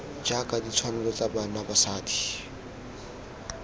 jaaka ditshwanelo tsa bana basadi